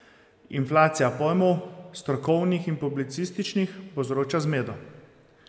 Inflacija pojmov, strokovnih in publicističnih, povzroča zmedo.